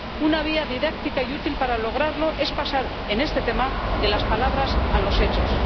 Una vía didáctica y útil para lograrlo es pasar en este tema de las palabras a los hechos.